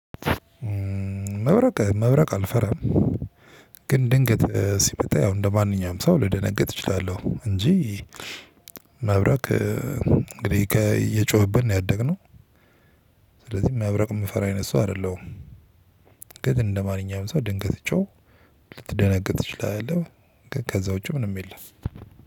መብረቅ መብረቅ አልፈራም። ግን ድንገት ሲመጣ ያው እንደማንኛውም ሰው ልደነግጥ እችላለሁ እንጂ። መብረቅ እንግዲህ እየጮሀብን ነው ያደግነው። ስለዚ መብረቅ የምፈራ አይነት ሰው አይደለሁ። ግን እንደ ማንኛውም ሰው ድንገት ትቸው ልትደነግጥ እችላለው። ከዛ ውጪ ምንም የለም።